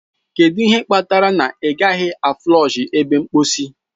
Kedu ihe kpatara na ị gaghị a flọshị ebe mposi?